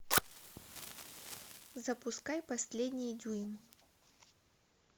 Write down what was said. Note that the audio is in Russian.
запускай последний дюйм